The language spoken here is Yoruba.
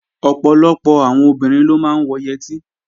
Ọ̀pọ̀lọpọ̀ àwọn obìnrin ló máa ń wọ yẹtí